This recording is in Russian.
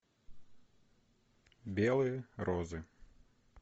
белые розы